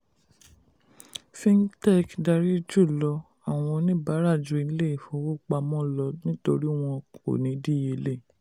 fintech dárí jùlọ àwọn oníbàárà ju ilé ìfowópamọ lọ nítorí wọ́n kò ní díyelé.